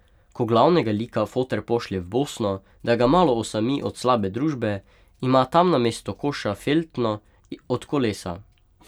Ko glavnega lika foter pošlje v Bosno, da ga malo osami od slabe družbe, ima tam namesto koša feltno od kolesa.